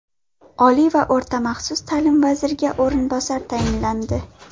Oliy va o‘rta maxsus ta’lim vaziriga o‘rinbosar tayinlandi.